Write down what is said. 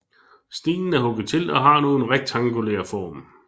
Stenen er hugget til og har nu en rektangulær form